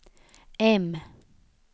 M